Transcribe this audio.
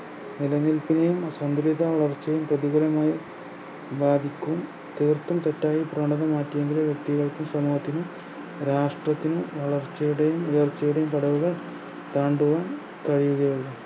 നിലനില്പിനെയും അസന്തുലിതാ വളർച്ചയെയും പ്രതികൂലമായി ബാധിക്കും കോട്ടം തട്ടാതെ ഈ പ്രവണത മാറ്റേണ്ടത് വ്യക്തികൾക്കും സമൂഹത്തിനും രാഷ്ട്രത്തിനും വളർച്ചയുടെയും ഉയർച്ചയുടെയും ഘടക ഉള്ളു